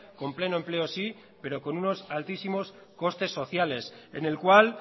con pleno empleo sí pero con unos altísimos costes sociales en el cual